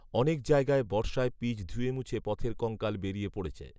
অনেক জায়গায় বর্ষায় পিচ ধুয়েমুছে পথের কঙ্কাল বেরিয়ে পড়েছে